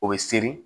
O bɛ seri